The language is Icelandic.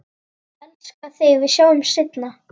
Elska þig, við sjáumst seinna.